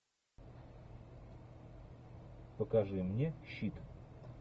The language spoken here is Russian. покажи мне щит